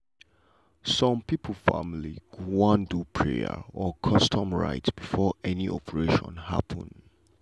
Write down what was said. some people family go wan do prayer or custom rite before any operation happen.